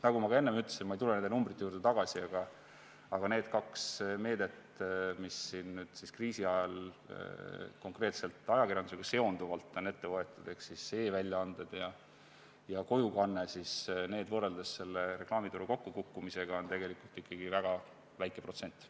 Nagu ma ka enne ütlesin – ma ei tule nende numbrite juurde tagasi –, need kaks meedet, mis nüüd kriisi ajal konkreetselt ajakirjandusega seonduvalt on ette võetud ehk e-väljaanded ja kojukanne, tähendavad võrreldes reklaamituru kokkukukkumisega tegelikult ikkagi väga väikest protsenti.